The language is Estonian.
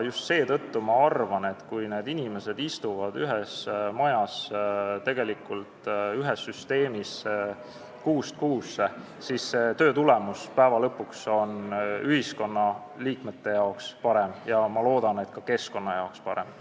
Just seetõttu ma arvan, et kui need inimesed istuvad kuust kuusse ühes majas, tegelikult ühes süsteemis, siis töö tulemus on lõpuks ühiskonnaliikmete jaoks parem, ja ma loodan, et ka keskkonna jaoks parem.